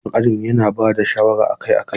Malamin ajinmu yana ba da shawara akai-akai.